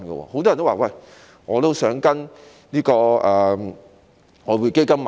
很多人也說：我也想跟隨外匯基金投資。